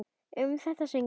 Um þetta söng ég: